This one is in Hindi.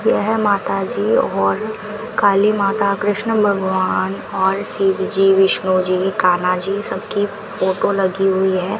यह माताजी और काली माता कृष्ण भगवान और शिवजी विष्णु जी कान्हा जी सबकी फोटो लगी हुई है।